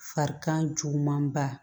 Farikan juguman ba